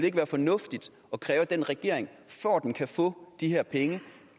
ikke være fornuftigt at kræve af den regering for at den kan få de her penge